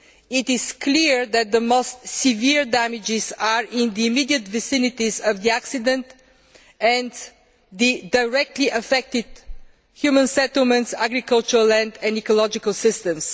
it is clear that the most severe damage is in the immediate vicinity of the accident and the directly affected human settlements, agricultural land and ecological systems.